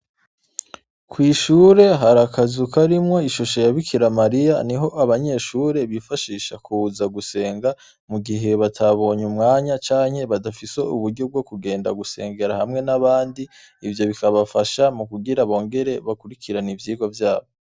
Kw'ishure har’akazu karimwo ishusho ya Bikira Mariya, niho abanyeshure bifashisha kuza gusenga mu gihe batabonye umwanya canke badafise uburyo bwo kuja gusengera hamwe n'abandi, ivyo bikabafasha mu kugira bongere bakurikire ivyigwa vyabo.